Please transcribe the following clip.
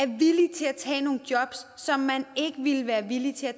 tage nogle jobs som man ikke ville være villig til at